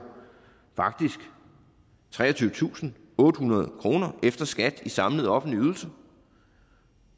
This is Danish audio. faktisk treogtyvetusinde og ottehundrede kroner efter skat i samlede offentlige ydelser og